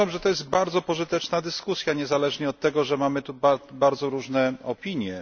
Uważam, że to jest bardzo pożyteczna dyskusja, niezależnie od tego, że mamy tu bardzo różne opinie.